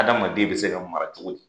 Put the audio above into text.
Adamaden bɛ se ka mara cogo di?